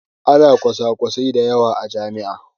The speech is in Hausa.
Ana kwasakwasai masu yawa a jami'a.